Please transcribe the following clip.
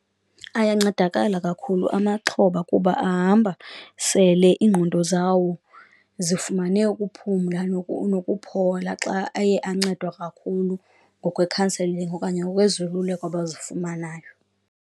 Ayancedakala kakhulu amaxhoba kuba ahamba sele iingqondo zawo zifumane ukuphumla nokuphola xa aye ancedwa kakhulu ngokwekhanselingi okanye ngokwezoluleko abazifumanayo.